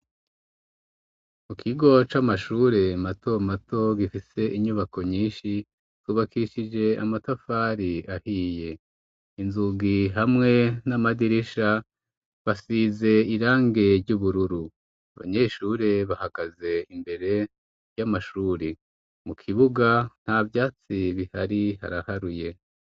Mu kigo c'amashure mato mato gifise inyubako nyinshi, cubakishije amatafari ahiye inzugi hamwe n'amadirisha basize irangi ry'ubururu. Abanyeshure bahagaze imbere y'amashuri mu kibuga nta vyatsi bihari haraharuye.